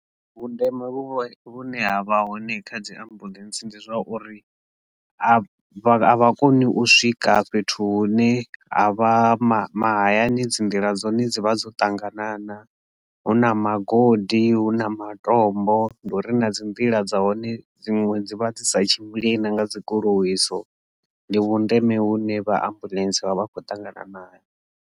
Vhundeme vhu vhune ha vha hone kha dzi ambuḽentse ndi zwauri a vha a vha koni u swika fhethu hune a vha mahayani dzi nḓila dzine dzi vha dzo ṱanganana na hu na magodi hu na matombo ndi uri na dzi mvula dza hone dziṅwe dzi vha dzi sa tshimbile na nga dzi goloi itsho ndi vhundeme hune vha Ambuḽentse vha vha khou ṱangana naho.